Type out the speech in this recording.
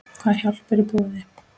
Hvað hjálp er í boði?